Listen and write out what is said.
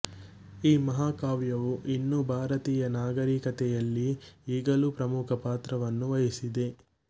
ಈ ಮಹಾಕಾವ್ಯವು ಇನ್ನೂ ಭಾರತೀಯ ನಾಗರಿಕತೆಯಲ್ಲಿ ಈಗಲೂ ಪ್ರಮುಖ ಪಾತ್ರವನ್ನು ವಹಿಸಿದೆ